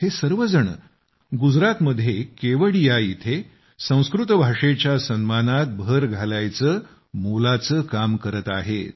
हे सर्वजण गुजरात मध्ये केवडिया इथे संस्कृत भाषेच्या सन्मानात भर घालायचे मोलाचे काम करत आहेत